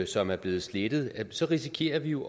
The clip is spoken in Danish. som er blevet slettet så risikerer vi jo